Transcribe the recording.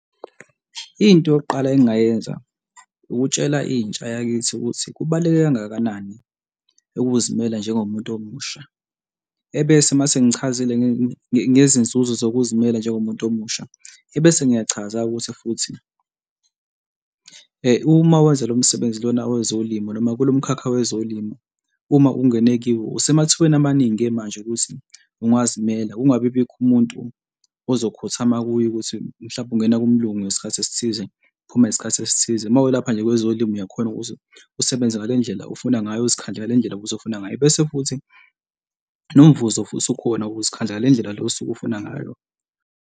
Into yokuqala engingayenza ukutshela intsha yakithi ukuthi kubaluleke kangakanani ukuzimela njengomuntu omusha. Ebese uma sengichazile ngezinzuzo zokuvimela njengomuntu omusha. Ebese ngiyachaza-ke ukuthi futhi uma wenza lo msebenzi lona wezolimo noma kulo mkhakha wezolimo. Uma ungena kiwo usemathubeni amaningi-ke manje ukuthi ungazimela, kungabibikho umuntu ozokhothama kuye ukuthi mhlawumbe ungena kumalunga ngesikhathi esithize uphuma ngesikhathi esithize, uma welapha nje ngokwezolimo uyakhona ukuthi usebenze ngale ndlela ofuna ngayo, uzikhandle ngale ndlela futhi ofuna ngayo, bese futhi nomvuzo futhi ukhona, wokuzikhandla ngale ndlela le osuke ufuna ngayo.